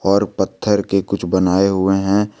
और पत्थर के कुछ बनाए हुए हैं।